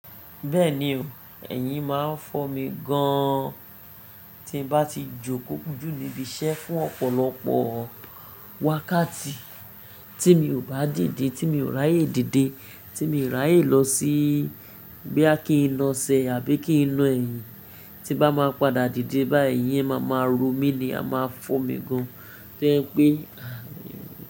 Bẹ́ẹ̀ni o, ẹ̀yin máa n fọ́ mi gan an tí n bá ti jókòó jù níbi iṣẹ́ fún ọ̀pọ̀lọpọ̀ wákàtí tí mi ò bá dìde, tí mi ò ráyè dìde, tí mi ò ráyè lọ sí bóyá kí n lna ẹsẹ àbí kí n na ẹ̀yin, tí n bá máa padà dìde báyìí ẹyín máa máa ro mi ni a máa fọ́ mi gan an to jẹ pé.